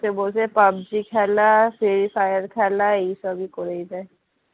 বসে বসে পাবজি খেলা free fire খেলা এইসবই করেই যাচ্ছে